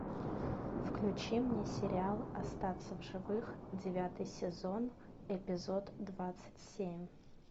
включи мне сериал остаться в живых девятый сезон эпизод двадцать семь